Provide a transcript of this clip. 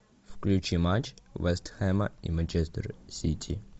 включи матч вест хэма и манчестер сити